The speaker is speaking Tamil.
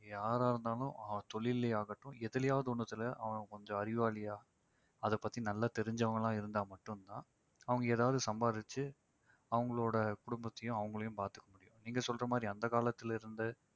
யாராயிருந்தாலும் அவன் தொழில்லையாகட்டும் எதுலயாவது ஒண்ணுத்துல அவன் கொஞ்சம் அறிவாளியா அத பத்தி நல்லா தெரிஞ்சுவங்களா இருந்தா மட்டும்தான் அவங்க ஏதாவது சம்பாதிச்சு அவங்களோட குடும்பத்தையும் அவங்களையும் பாத்துக்க முடியும். நீங்க சொல்ற மாதிரி அந்த காலத்திலிருந்தே